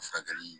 Furakɛli